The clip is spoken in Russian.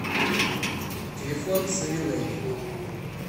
телефон савинели